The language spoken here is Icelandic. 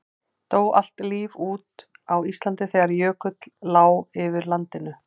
Dó allt líf út á Íslandi þegar jökull lá yfir landinu?